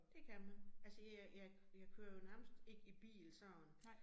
Det kan man. Altså jeg jeg jeg kører jo nærmest ikke i bil sådan